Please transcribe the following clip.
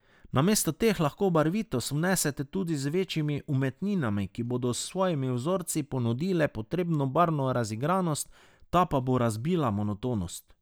Namesto teh lahko barvitost vnesete tudi z večjimi umetninami, ki bodo s svojimi vzorci ponudile potrebno barvno razigranost, ta pa bo razbila monotonost.